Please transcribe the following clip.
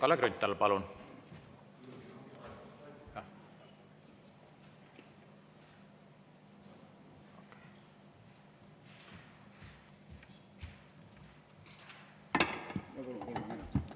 Kalle Grünthal, palun!